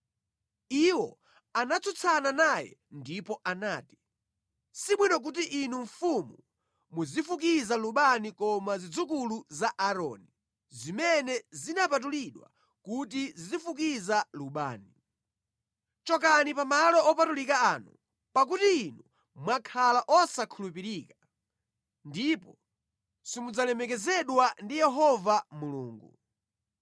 Iwo anatsutsana naye ndipo anati, “Sibwino kuti inu mfumu muzifukiza lubani koma zidzukulu za Aaroni, zimene zinapatulidwa kuti zizifukiza lubani. Chokani pa malo opatulika ano, pakuti inu mwakhala osakhulupirika, ndipo simudzalemekezedwa ndi Yehova Mulungu.”